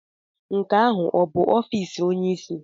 Nke ahụ ọ bụ ọfịs onyeisi?